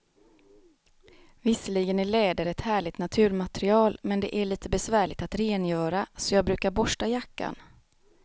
Visserligen är läder ett härligt naturmaterial, men det är lite besvärligt att rengöra, så jag brukar borsta jackan.